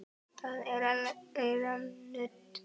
Það er að læra nudd.